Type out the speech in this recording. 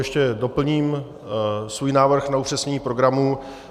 Ještě doplním svůj návrh na upřesnění programu.